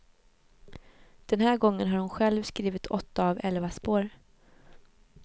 Den här gången har hon själv skrivit åtta av elva spår.